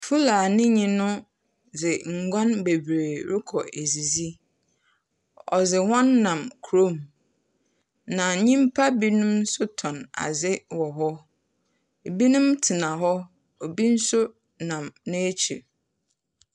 Fulani no dze nguan bebree rokɔ edzidzi. Ɔdze hɔn nam kurom. Na nyimpa binom nso tɔn adze wɔ hɔ. Ebinom tena hɔ, obi nso nam n'ekyir.